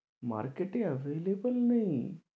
Market এ available নেই